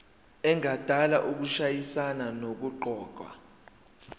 engadala ukushayisana nokuqokwa